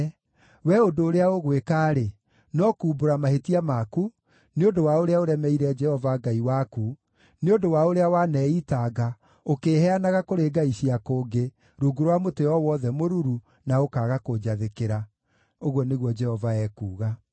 Wee ũndũ ũrĩa ũgwĩka-rĩ, no kuumbũra mahĩtia maku, nĩ ũndũ wa ũrĩa ũremeire Jehova Ngai waku, nĩ ũndũ wa ũrĩa waneitanga, ũkĩĩheanaga kũrĩ ngai cia kũngĩ, rungu rwa mũtĩ o wothe mũruru, na ũkaaga kũnjathĩkĩra,’ ” ũguo nĩguo Jehova ekuuga.